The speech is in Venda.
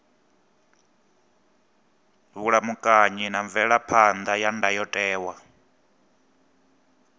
vhulamukanyi na mvelaphan ḓa ya ndayotewa